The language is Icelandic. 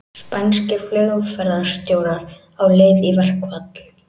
Spænskir flugumferðarstjórar á leið í verkfall